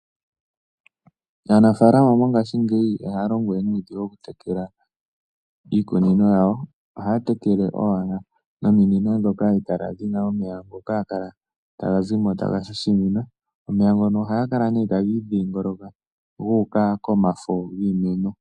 Aanafalama mongashingeyi ihaya longo we nuudhigu okutekela iikunino yawo, ohaya tekele owala nomino dhoka ha dhi kala dhina omeya ngoka haga kala taga zi mo taga shashamine. Omeya ngono ohaga kala nee taga idhingoloka gu uka komafo giimeno.